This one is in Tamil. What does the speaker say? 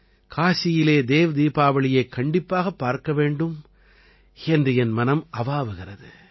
காசியிலே தேவ் தீபாவளியைக் கண்டிப்பாகப் பார்க்க வேண்டும் என்று என் மனம் அவாவுகிறது